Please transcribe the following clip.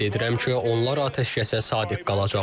Ümid edirəm ki, onlar atəşkəsə sadiq qalacaqlar.